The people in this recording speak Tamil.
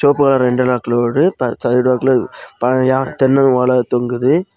கூட ரெண்டு லாக் லோடு ப சைடு லாக்ல பழைய தென்ன ஓல தொங்குது.